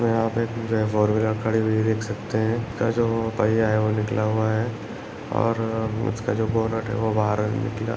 यहा पे एक फोर व्हीलर खड़ी हुई देख सकते है इस का जो पहिया वो निकला हुवा है और उसका जो बोनेट है वो बाहर निकला है।